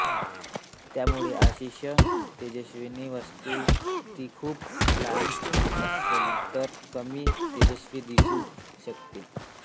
त्यामुळे अतिशय तेजस्वी वस्तू ती खूप लांब असेल तर कमी तेजस्वी दिसू शकते